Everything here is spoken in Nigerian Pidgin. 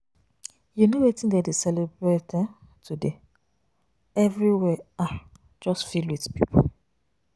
You no wetin dem dey celebrate um today? Everywhere um just fill with people.